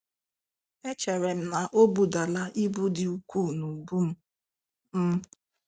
“Echere m na ọ budala ibu dị ukwuu n'ubu m. m.